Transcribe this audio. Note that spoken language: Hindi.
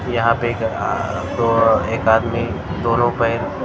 यहां पे एक अह दो एक आदमी दोनों पैर--